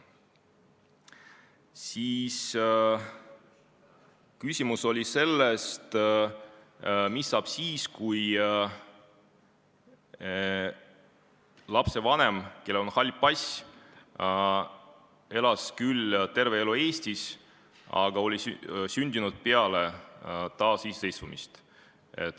Oli küsimus, mis saab siis, kui lapsevanem, kellel on hall pass, on küll elanud terve elu Eestis, aga on sündinud peale taasiseseisvumist.